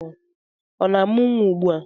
Ọ na-amụ nwa ugbua?